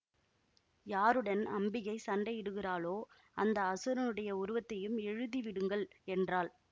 யாருடன் அம்பிகை சண்டையிடுகிறாளோ அந்த அசுரனுடைய உருவத்தையும் எழுதிவிடுங்கள் என்றாள்